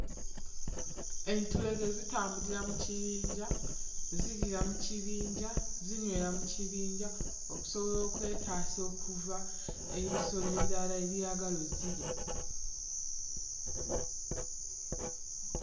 Entulege zitambulira mu kibinja, ziriira mu kibinja, zinywera mu kibinja okusobola okwetasa okuva ebisolo ebirala ebyagala ozzirya.